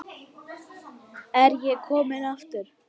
Er ég kominn aftur?